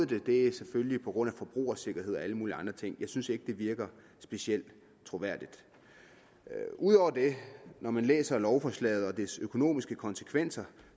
det er selvfølgelig på grund af forbrugersikkerhed og alle mulige andre ting jeg synes ikke at det virker specielt troværdigt udover det når man læser lovforslaget og dets økonomiske konsekvenser